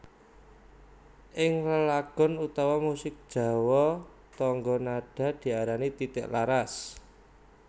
Ing lelagon utawa musik Jawa tangga nada diarani titi laras